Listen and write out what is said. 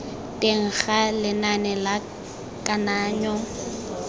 teng ga lenane la kananyo